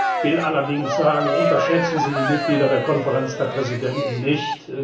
Ich will allerdings sagen Unterschätzen Sie die Mitglieder der Konferenz der Präsidenten nicht!